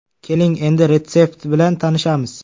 Keling, endi retsept bilan tanishamiz.